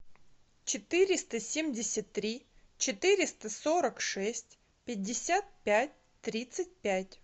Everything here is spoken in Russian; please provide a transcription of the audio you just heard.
четыреста семьдесят три четыреста сорок шесть пятьдесят пять тридцать пять